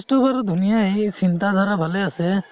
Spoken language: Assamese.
process তো বাৰু ধুনিয়াই চিন্তা ধাৰা ভালে আছে